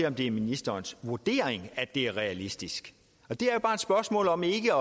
om det er ministerens vurdering at det er realistisk det er jo bare et spørgsmål om ikke